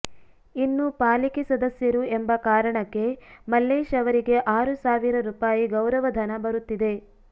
ಇನ್ನು ಪಾಲಿಕೆ ಸದಸ್ಯರು ಎಂಬ ಕಾರಣಕ್ಕೆ ಮಲ್ಲೇಶ್ ಅವರಿಗೆ ಆರು ಸಾವಿರ ರುಪಾಯಿ ಗೌರವ ಧನ ಬರುತ್ತಿದೆ